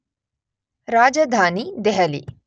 Rajdhani Delhi